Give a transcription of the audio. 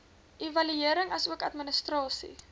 evaluering asook administrasie